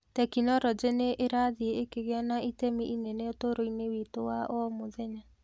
Tekinoronjĩ nĩ ĩrathiĩ ĩkĩgĩa na itemi inene ũtũũro-inĩ witũ wa o mũthenya.